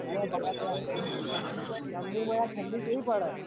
જમ્બુ માં ઠંડી કેવી પડે યાર